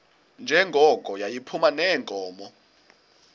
njengoko yayiphuma neenkomo